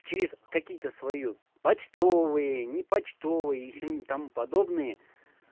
через какие-то свою почтовые непочтовые и сему тому подобные